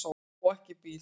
Á ekki bíl.